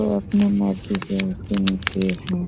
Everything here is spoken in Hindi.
वो अपने मर्जी से उसके नीचे हैं।